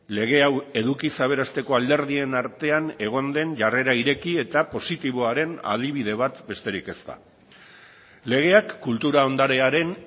lege hau edukiz aberasteko alderdien artean egon den jarrera ireki eta positiboaren adibide bat besterik ez da legeak kultura ondarearen